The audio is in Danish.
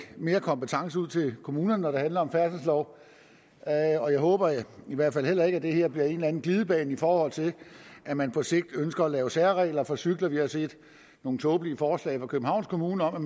mere kompetence ud til kommunerne når det handler om færdselsloven og jeg håber i hvert fald heller ikke at det her bliver en glidebane i forhold til at man på sigt ønsker at lave særregler for cykler vi har set nogle tåbelige forslag fra københavns kommune om